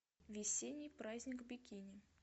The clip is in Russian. весенний праздник бикини